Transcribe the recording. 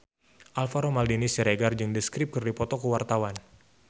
Alvaro Maldini Siregar jeung The Script keur dipoto ku wartawan